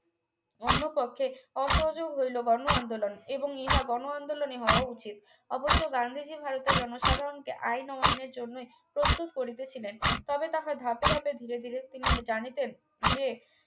অন্যপক্ষে অসহযোগ হইল গণ আন্দোলন এবং ইহা গণ আন্দোলনই হওয়া উচিত অবশ্য গান্ধীজী ভারতে জনসাধারনকে আইন অমান্যের জন্যে প্রস্তুত করিতেছিলেন তবে তাহা ধাপে ধাপে ধীরে ধীরে তিনি জানিতেন যে